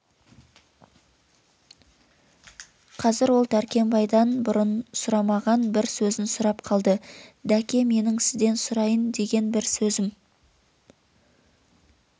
қазір ол дәркембайдан бұрын сұрамаған бір сөзін сұрап қалды дәке менің сізден сұрайан деген бір сөзім